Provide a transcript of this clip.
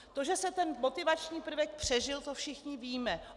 To, že se ten motivační prvek přežil, to všichni víme.